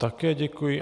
Také děkuji.